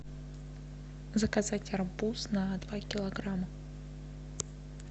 заказать арбуз на два килограмма